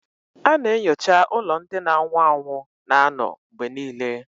A na-enyocha ụlọ ndị na-anwụ anwụ na-anọ mgbe niile